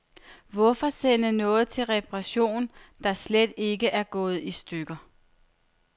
Hvorfor sende noget til reparation, der slet ikke er gået i stykker.